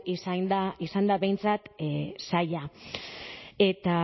izan da behintzat saila eta